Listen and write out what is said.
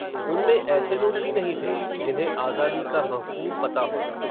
उनमें, ऐसे लोग भी नहीं थे, जिन्हें, आज़ादी का महफ़ूम पता हो